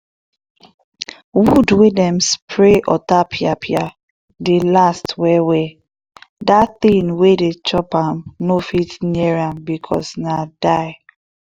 wood wey dem spray otapiapia dey last well well dat thing wey dey chop am no fit near am because na die.